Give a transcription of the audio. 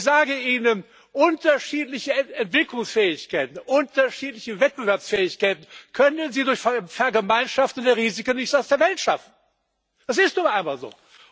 Ich sage Ihnen Unterschiedliche Entwicklungsfähigkeiten, unterschiedliche Wettbewerbsfähigkeit können Sie durch Vergemeinschaftung der Risiken nicht aus der Welt schaffen das ist nun einmal so.